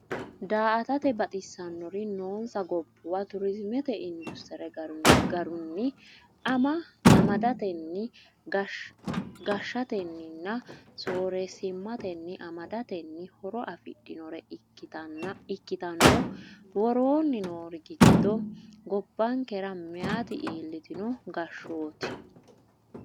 Daa”atate baxisannori noonsa gobbuwa turizimete industire garunni ama datenni, gashshatenninna sooreessimatenni amadatenni horo afidhannore ikkitanno, Woroonni noori giddo gobbankera meyaati iillitino gashshootu?